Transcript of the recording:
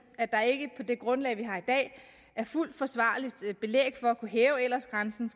at der ikke på det grundlag vi har i dag er fuldt forsvarligt belæg for at kunne hæve aldersgrænsen